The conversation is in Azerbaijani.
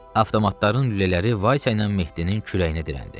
Avtomatların lülələri Vaysə ilə Mehdinin kürəyinə dirəndi.